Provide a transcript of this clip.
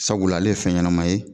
Sabula ale ye fɛn ɲɛnama ye.